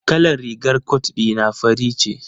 Kalar rigar cot dina fari ce.